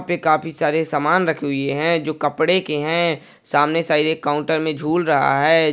काफी सारे समान रखे हुए है जो कपड़े के हैं सामने साइड एक काउन्टर मे झूल रहा है।